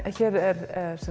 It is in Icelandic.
hér er